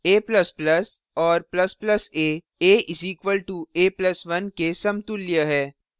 a ++ और ++ a a = a + 1 के समतुल्य हैं